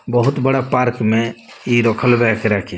बहुत बड़ा पार्क में ई रखल बा एकरा के।